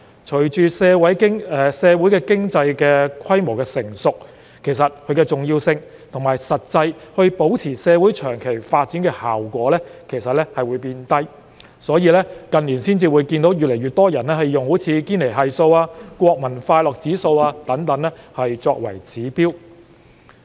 隨着社會經濟規模日漸成熟，其重要性及保持社會長期發展的實際效果會降低，因此，近年越來越多人採用堅尼系數、國民快樂指數等作為指標。